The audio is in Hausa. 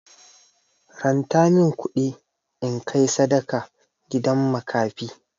Ranta min kuɗi in kai sadaka gidan makafi.